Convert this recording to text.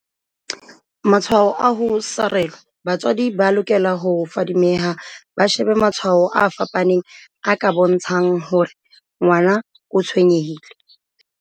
Matshwao a ho sarelwa Batswadi ba lokela ho fadi meha ba shebe matshwao a fapaneng a ka bontsha ng hore ngwana o tshwenye hile.